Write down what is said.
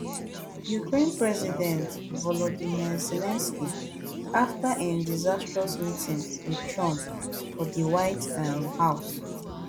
ukraine president volodymyr zelensky afta im disastrous meeting wit trump for di white um house